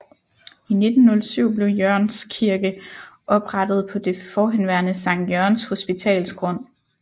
I 1907 blev Jørgenskirke oprettet på det forhenværende Sankt Jørgens Hospitals grund